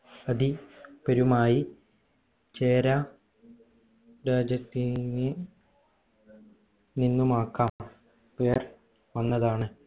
അധി പേരുമായി ചേരാ രാജ്യത്തിന് നിന്നുമാക്കാം പേർ വന്നതാണ്